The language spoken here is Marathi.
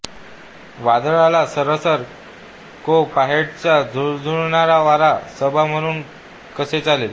वादळाला सरसर को पहाटेचा झुळझुळणारा वारा सबा म्हणून कसे चालेल